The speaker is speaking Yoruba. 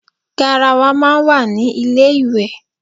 Garawa máa ń wà ní ilé íwẹ́